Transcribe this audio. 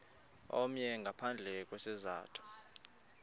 omnye ngaphandle kwesizathu